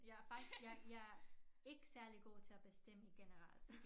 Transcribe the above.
Jeg faktisk jeg jeg ikke særlig god til at bestemme i generel